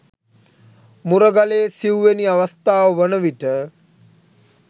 මුරගලේ සිවුවැනි අවස්ථාව වන විට